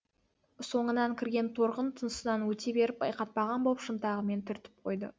соңынан кірген торғын тұсынан өте беріп байқатпаған боп шынтағымен түртіп қойды